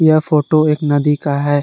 यह फोटो एक नदी का है।